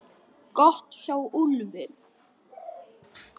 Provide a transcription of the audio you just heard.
Gott hjá Úlfi!